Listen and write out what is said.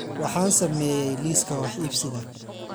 Waxaan sameeyay liiska wax iibsiga